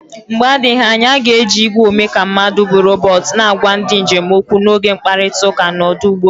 Mgbe adịghị anya a ga-eji igwe omeka mmadụ bụ robot na-agwa ndị njem okwu n'oge mkparịta ụka n'ọdụ ụgbọ elu.